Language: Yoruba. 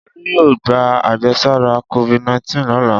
Olú yóò gba àjẹsára Covid-19 lọ́la.